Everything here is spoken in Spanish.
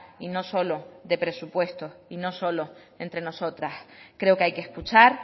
y no solo de presupuestos y no solo entre nosotras creo que hay que escuchar